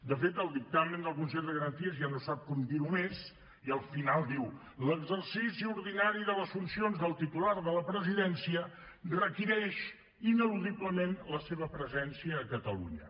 de fet el dictamen del consell de garanties ja no sap com dir ho més i al final diu l’exercici ordinari de les funcions del titular de la presidència requereix ineludiblement la seva presència a catalunya